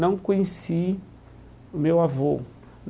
Não conheci o meu avô.